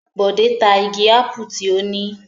Bọ̀dé ta igi ápù tí ó ní?